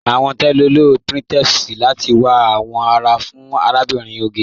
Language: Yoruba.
Awọn tẹlọ ló pinterest láti wà awọn ará fún Àlàbírín Ògè.